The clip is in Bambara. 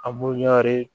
A b'o ɲɔnri